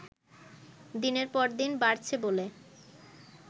দিনের পর দিন বাড়ছে বলে